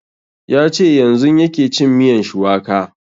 Ya ce yanzun yake cin miyan shuwaka